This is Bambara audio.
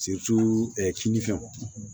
kini fɛnw